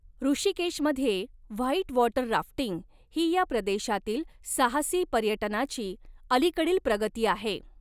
ऋषिकेशमध्ये whitewater rafting ही या प्रदेशातील साहसी पर्यटनाची अलीकडील प्रगती आहे.